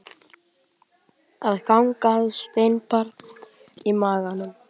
Að ganga með steinbarn í maganum